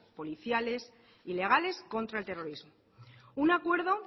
policiales y legales contra el terrorismo un acuerdo